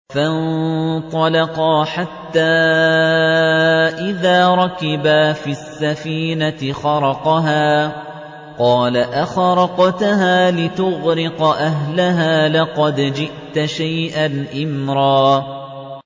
فَانطَلَقَا حَتَّىٰ إِذَا رَكِبَا فِي السَّفِينَةِ خَرَقَهَا ۖ قَالَ أَخَرَقْتَهَا لِتُغْرِقَ أَهْلَهَا لَقَدْ جِئْتَ شَيْئًا إِمْرًا